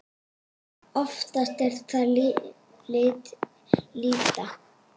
Oftast er það til lýta.